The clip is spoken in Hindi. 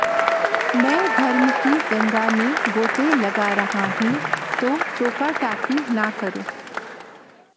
मैं धर्म की गंगा में गोते लगा रहा हूं तो टोका टाकी न करो